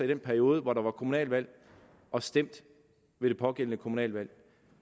den periode hvor der var kommunalvalg og stemt ved det pågældende kommunalvalg